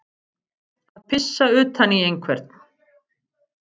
Ísdrottningin liðaðist út um öftustu hurðina á lestinni og svif í átt að lestarpallinum.